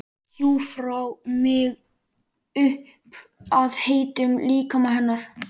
Hjúfra mig upp að heitum líkama hennar.